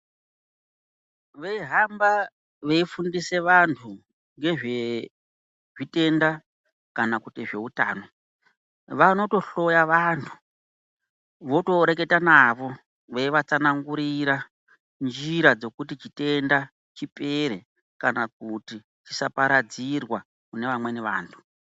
Vei hamba vei fundise vantu ngezve zvitenda kana kuti zve utano vanoto hloya vantu voto reketa navo veiva tsanangurira njira dzekuti chitenda chipere kana kuti zvisa paradzirwa kune vamweni vantu.